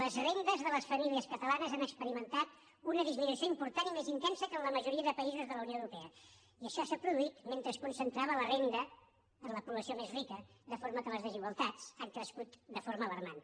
les rendes de les famílies catalanes han experimentat una disminució important i més intensa que en la majoria de països de la unió europea i això s’ha produït mentre es concentrava la renda en la població més rica de forma que les desigualtats han crescut de forma alarmant